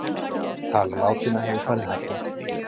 Tala látinna hefur farið hækkandi